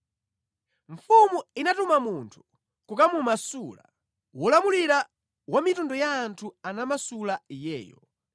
Mfumu inatuma munthu kukamumasula, wolamulira wa mitundu ya anthu anamasula iyeyo.